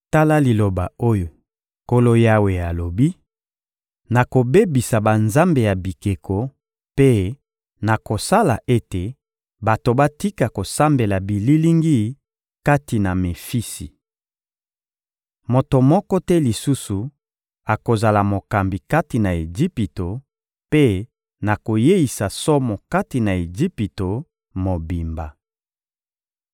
Tala liloba oyo Nkolo Yawe alobi: Nakobebisa banzambe ya bikeko mpe nakosala ete bato batika kosambela bililingi kati na Mefisi. Moto moko te lisusu akozala mokambi kati na Ejipito, mpe nakoyeisa somo kati na Ejipito mobimba.